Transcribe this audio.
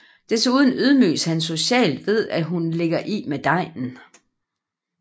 Desuden ydmyges han socialt ved at hun ligger i med degnen